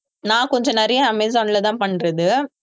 நான் கொஞ்சம் நிறைய அமேசான்ல தான் பண்றது